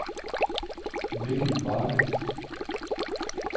Mikkel Warming